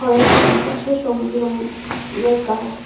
এর চারিপাশে সবুজ রঙ এর গাছ।